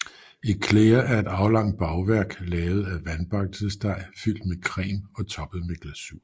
Éclair er et aflangt bagværk lavet af vandbakkelsesdej fyldt med creme og toppet med glasur